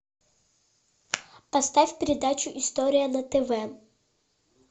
поставь передачу история на тв